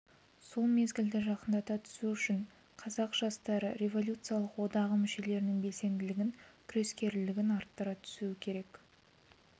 сол мезгілді жақындата түсу үшін қазақ жастары революциялық одағы мүшелерінің белсенділігін күрескерлігін арттыра түсу керек